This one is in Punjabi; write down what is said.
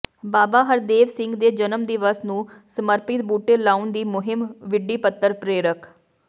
ਬਾਬਾ ਹਰਦੇਵ ਸਿੰਘ ਦੇ ਜਨਮ ਦਿਵਸ ਨੂੰ ਸਮਰਪਿਤ ਬੁਟੇ ਲਾਉਣ ਦੀ ਮੁਹਿੰਮ ਵਿੱਢੀਪੱਤਰ ਪ੍ਰੇਰਕ